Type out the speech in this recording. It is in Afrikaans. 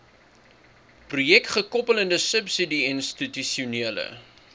projekgekoppelde subsidie institusionele